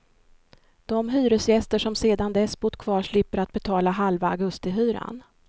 De hyresgäster som sedan dess bott kvar slipper att betala halva augustihyran.